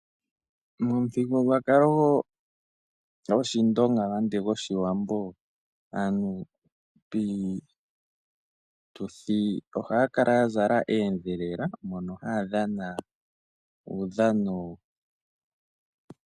Momuthigululwakalo gwoshindonga nenge gwoshiwambo aantu piituthi ohaya kala ya zala oondhelela mono haya dhana uudhano.